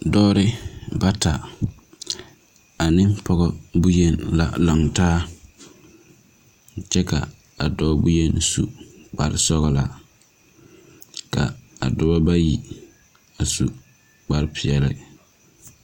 Dɔba bata ane poɔ bunyeni la langtaa kye ka a doɔ bunyeni su kpare sɔglaa kye ka a dɔba bayi a su kpare peɛle.